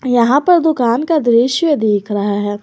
यहां पर दुकान का दृश्य देख रहा है।